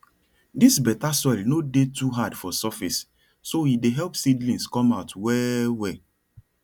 dis better soil no dey too hard for surface so e dey help seedlings come out well well